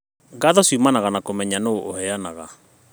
Ngatho ciumanaga na kũmenya nũ ũheanaga